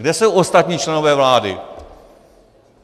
Kde jsou ostatní členové vlády?